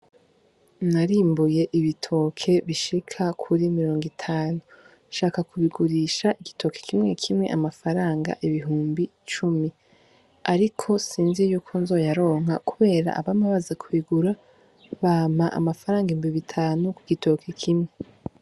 Narimbuye ibitoki bishika kuri mirongo itanu shaka kubigurisha igitoki kimwe kimwe amafaranga ibihumbi cumi ariko sinzi yuko nzoyaronka kubera abama baza ku bigura bampa amafaranga ibihumbi bitanu ku gitoki kimwe.